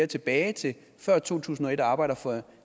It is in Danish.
tilbage til før to tusind og et og arbejder for